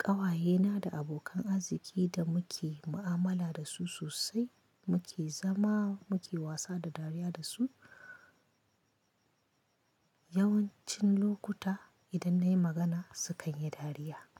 ƙawayena da abokan arziki da muke mu'amala da su sosai, muke zama muke wasa da dariya da su. Yawancin lokuta idan nayi magana sukan yi dariya.